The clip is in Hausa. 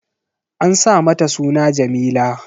An sa mata suna Jameela